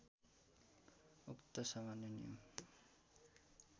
उक्त सामान्य नियम